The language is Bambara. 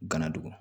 Gana dogo